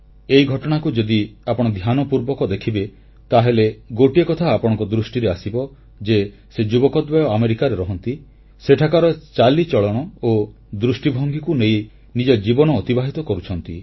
ଏହି ଘଟଣାକୁ ଯଦି ଆପଣ ଧ୍ୟାନପୂର୍ବକ ଦେଖିବେ ତାହେଲେ ଗୋଟିଏ କଥା ଆପଣଙ୍କ ଦୃଷ୍ଟିରେ ଆସିବ ଯେ ସେ ଯୁବକଦ୍ୱୟ ଆମେରିକାରେ ରହନ୍ତି ସେଠାକାର ଚାଲିଚଳଣ ଓ ଦୃଷ୍ଟିଭଙ୍ଗୀକୁ ନେଇ ନିଜ ଜୀବନ ଅତିବାହିତ କରୁଛନ୍ତି